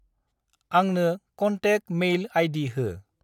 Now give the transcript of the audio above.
आंंनो contact mail ID हो।